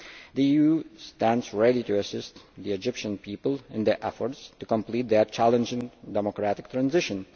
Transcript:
The EU stands ready to assist the Egyptian people in their efforts to complete their challenging democratic transition.